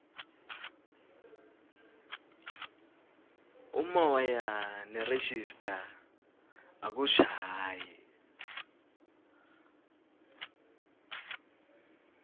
umoya nerejista akushayi